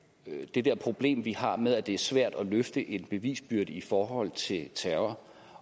det der problem vi har med at det er svært at løfte en bevisbyrde i forhold til terror